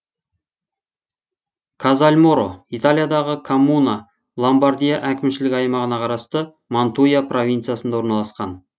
казальморо италиядағы коммуна ломбардия әкімшілік аймағына қарасты мантуя провинциясында орналасқан